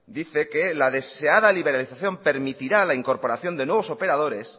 dice que la deseada liberación permitirá la incorporación de nuevos operadores